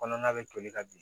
Kɔnɔna bɛ toli ka bin